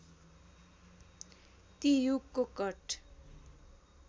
ती युगको कट